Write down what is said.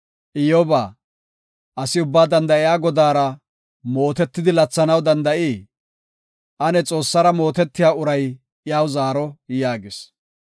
“Iyyoba, asi Ubbaa Danda7iya Godaara mootetidi, lathanaw danda7ii? Ane Xoossara mootetiya uray iyaw zaaro” yaagis.